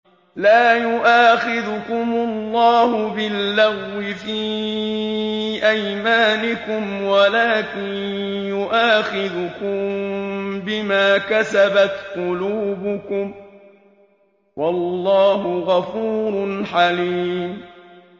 لَّا يُؤَاخِذُكُمُ اللَّهُ بِاللَّغْوِ فِي أَيْمَانِكُمْ وَلَٰكِن يُؤَاخِذُكُم بِمَا كَسَبَتْ قُلُوبُكُمْ ۗ وَاللَّهُ غَفُورٌ حَلِيمٌ